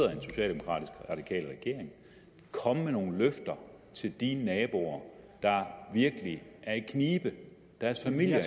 regering komme med nogle løfter til de naboer der virkelig er i knibe deres familier